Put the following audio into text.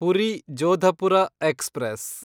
Puri Jodhpur express